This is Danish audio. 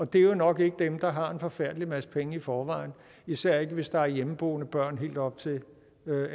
det er jo nok ikke dem der har en forfærdelig masse penge i forvejen især ikke hvis der er hjemmeboende børn helt op til